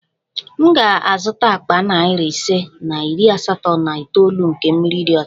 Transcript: M ga-azụta akpa nari ise na iri asatọ na itoolu nke mmiri dị ọcha